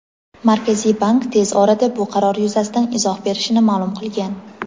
Markaziy bank tez orada bu qaror yuzasidan izoh berishini ma’lum qilgan.